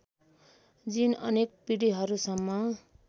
जिन अनेक पिँढिहरूसम्म